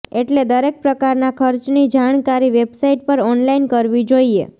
એટલે દરેક પ્રકારના ખર્ચની જાણકારી વેબસાઇટ પર ઓનલાઇન કરવી જોઈએ